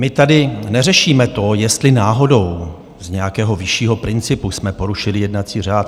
My tady neřešíme to, jestli náhodou z nějakého vyššího principu jsme porušili jednací řád.